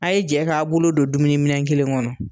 A ye jɛ k'a bolo don dumuniminɛ kelen kɔnɔ